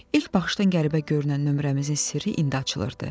İlk baxışdan qəribə görünən nömrəmizin sirri indi açılırdı.